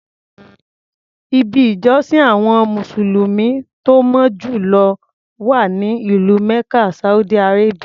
Ibi ìjọsìn àwọn mùsùlùmí tó mọ́ jù lọ wà ní ìlú Mecca Saudi Arabia.